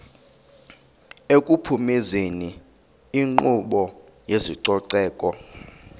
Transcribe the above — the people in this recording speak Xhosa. ekuphumezeni inkqubo yezococeko